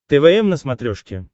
твм на смотрешке